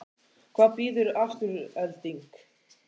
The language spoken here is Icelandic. Hvað býður Afturelding?